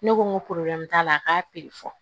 Ne ko n ko t'a la a k'a fɔ